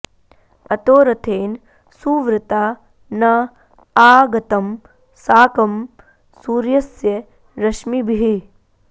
अतो॒ रथे॑न सु॒वृता॑ न॒ आ ग॑तं सा॒कं सूर्य॑स्य र॒श्मिभिः॑